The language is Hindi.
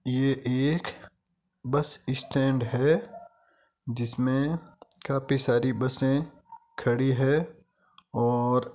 ये एक बस स्टेंड है जिसमे काफी सारी बसे खड़ी है और --